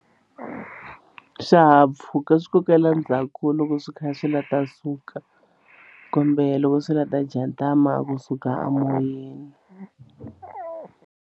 Swihahampfhuka swi kokela ndzhaku loko swi kha swi la ta suka kumbe loko swi la ta jatama kusuka a moyeni.